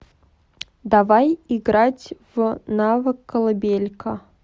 давай играть в навык колыбелька